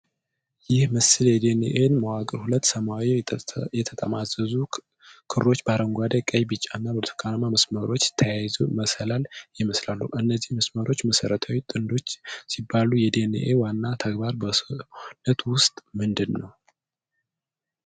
ይህ ምስል የዲ ኤን ኤን መዋቅር ሁለት ሰማያዊ የተጠማዘዙ ክሮች በአረንጓዴ፣ ቀይ፣ ቢጫ እና ብርቱካናማ መስመሮች ተያይዘው መሰላል ይመስላሉ። እነዚህ መስመሮች መሠረታዊ ጥንዶች ሲባሉ። የዲ ኤን ኤ ዋና ተግባር በሰውነት ውስጥ ምንድን ነው?